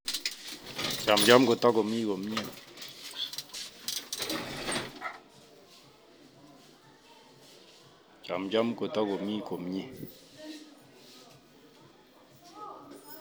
Chamcham kotokomi komie